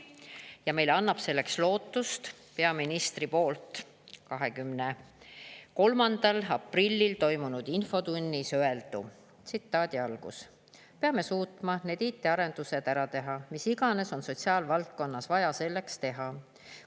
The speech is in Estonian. Ja meile annab selleks lootust peaministri poolt 23. aprillil toimunud infotunnis öeldu: " peame suutma need IT-arendused ära teha, mis iganes on sotsiaalvaldkonnas vaja selleks teha.